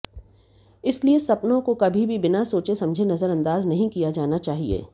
इसलिए सपनों को कभी भी बिना सोचे समझे नजरअंदाज नहीं किया जाना चाहिए